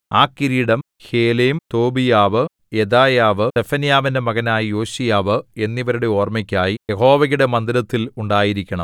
ആ കിരീടം ഹേലെം തോബീയാവ് യെദായാവ് സെഫന്യാവിന്റെ മകനായ യോശീയാവ് എന്നിവരുടെ ഓർമ്മയ്ക്കായി യഹോവയുടെ മന്ദിരത്തിൽ ഉണ്ടായിരിക്കണം